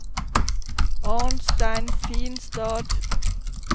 Arnstein Finstad